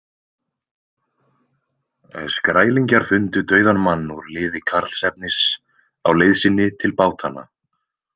Skrælingjar fundu dauðan mann úr liði Karlsefnis á leið sinni til bátanna.